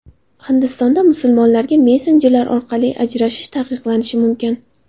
Hindistonda musulmonlarga messenjerlar orqali ajrashish taqiqlanishi mumkin.